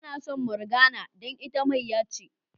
Ba na son Morgana dan ita mayya ce.